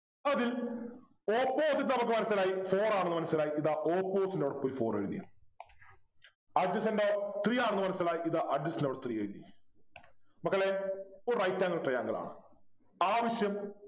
അതിൽ opposite നമുക്ക് മനസിലായി four ആണെന്ന് മനസിലായി ദാ opposite ൻ്റെ അവിടെ പോയി four എഴുതി Adjacent ഓ three ആണെന്ന് മനസിലായി Adjacent ൻ്റെ അവിടെ three എഴുതി മക്കളെ ഒരു right angle triangle ആണ് ആവശ്യം